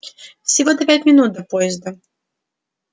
всего-то пять минут до подъезда